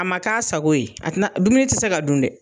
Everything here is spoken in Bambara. A ma k'a sago ye a tina dumuni tɛ se ka dun dɛ.